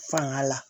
Fanga la